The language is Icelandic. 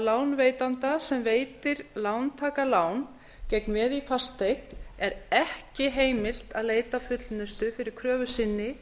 lánveitanda sem veitir lántaka lán gegn veði í fasteign er ekki heimilt að leita fullnustu fyrir kröfu sinni